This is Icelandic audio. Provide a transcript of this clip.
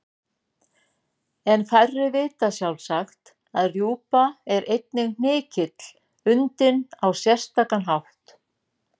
En færri vita sjálfsagt að rjúpa er einnig hnykill undinn á sérstakan hátt.